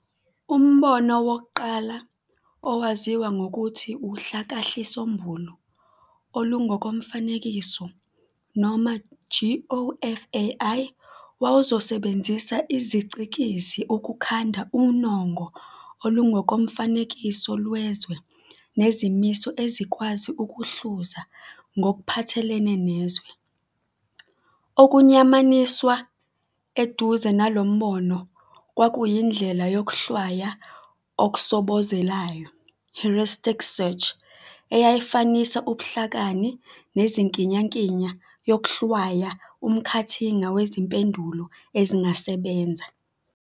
Umbono wokuqala, owaziwa ngokuthi uHlakahlisombulu olungokoMfanekiso noma GOFAI, wawuzosebenzisa izicikizi ukukhanda unongo olungokomfanekiso lwezwe nezimiso ezikwazi ukuhluza ngokuphathelene nezwe. Okuyamaniswa eduze nalombono kwakuyindlela "yokuhlwaya okusobozelayo" "heuristic search", eyayifanisa ubuhlakani nenkiyankiya yokuhlwaya umkhathinga wezimpendulo ezingasebenza.